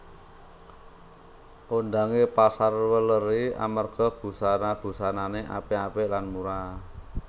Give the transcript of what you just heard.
Kondhange Pasar Welèri amarga busana busanane apik apik lan murah